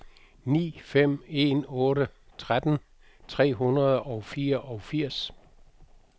ni fem en otte tretten tre hundrede og fireogfirs